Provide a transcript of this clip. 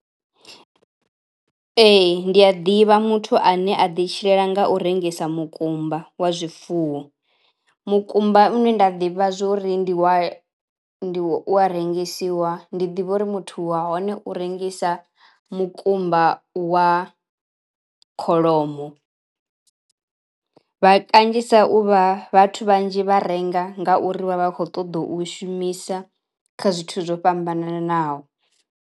Ee ndi a ḓivha muthu ane a ḓi tshilela nga u rengisa mukumba wa zwifuwo. Mukumba une nda ḓivha zwori ndi wa ndi wa u wa rengisiwa ndi ḓivha uri muthu wa hone uri rengisa mukumba wa kholomo. Vha kanzhisa u vha vhathu vhanzhi vha renga ngauri vha vha khou ṱoḓa u shumisa kha zwithu zwo fhambananaho.